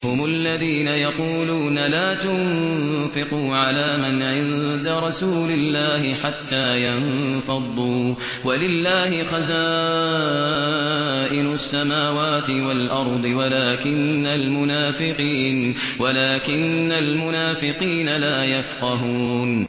هُمُ الَّذِينَ يَقُولُونَ لَا تُنفِقُوا عَلَىٰ مَنْ عِندَ رَسُولِ اللَّهِ حَتَّىٰ يَنفَضُّوا ۗ وَلِلَّهِ خَزَائِنُ السَّمَاوَاتِ وَالْأَرْضِ وَلَٰكِنَّ الْمُنَافِقِينَ لَا يَفْقَهُونَ